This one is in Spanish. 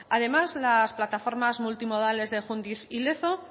además las plataformas multimodales de jundiz y lezo